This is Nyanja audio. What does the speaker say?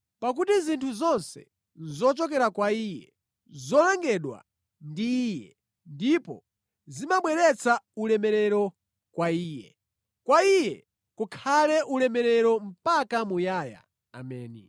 Pakuti zinthu zonse nʼzochokera kwa Iye, nʼzolengedwa ndi Iye ndipo zimabweretsa ulemerero kwa Iye. Kwa Iye kukhale ulemerero mpaka muyaya! Ameni.